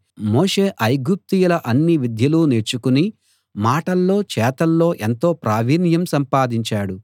మోషే ఐగుప్తీయుల అన్ని విద్యలూ నేర్చుకుని మాటల్లో చేతల్లో ఎంతో ప్రావీణ్యం సంపాదించాడు